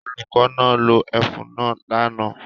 Olùkọ́ náà lo ẹfun náà lánàá